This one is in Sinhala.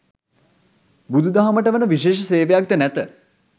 බුදුදහමට වන විශේෂ සේවයක්ද නැත.